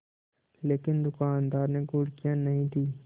लेकिन दुकानदार ने घुड़कियाँ नहीं दीं